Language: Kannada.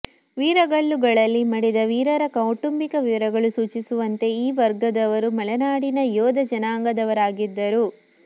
ವೀರಗಲ್ಲುಗಳಲ್ಲಿ ಮಡಿದ ವೀರರ ಕೌಟುಂಬಿಕ ವಿವರಗಳು ಸೂಚಿಸುವಂತೇ ಈ ವರ್ಗದವರು ಮಲೆನಾಡಿನ ಯೋಧ ಜನಾಂಗದವರಾಗಿದ್ದರು